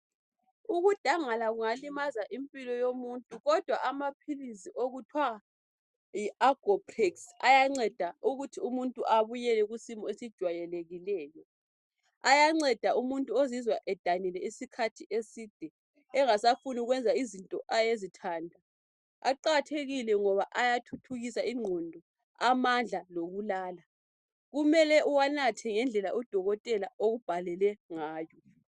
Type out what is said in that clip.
Ukudangala kungalimaza impilo yomuntu kodwa amaphilisi okuthwa yi Agoprex ayanceda ukuthi umuntu ubuyele kusimo esijwayelekileyo. Ayanceda umuntu ozizwa edanile okwesikhathi eside engasafuni ukweza izinto ayezithanda. Aqakathekile ngoba ayathuthukisa ingqondo amandla lokulala kumele uwanathe ngendlela udokotela akubhalele ngayo.